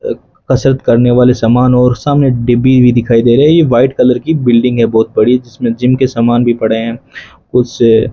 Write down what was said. अह कसरत करने वाले सामान और सामने डिब्बी भी दिखाई दे रहे है ये व्हाइट कलर की बिल्डिंग है बहुत बड़ी जिसमें जिम के सामान भी पड़े हैं उस --